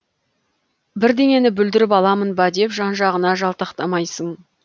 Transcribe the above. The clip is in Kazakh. бірдеңені бүлдіріп аламын ба деп жан жағына жалтақтамайсың